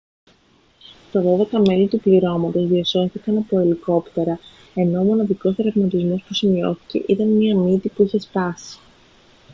τα δώδεκα μέλη του πληρώματος διασώθηκαν από τα ελικόπτερα ενώ ο μοναδικός τραυματισμός που σημειώθηκε ήταν μια μύτη που είχε σπάσει